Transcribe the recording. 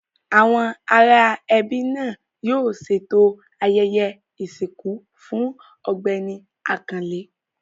Àwọn ará ẹbí náà yóò ṣètò ayẹyẹ ìsìnkú fún Ọ̀gbẹ́ni Àkànlé.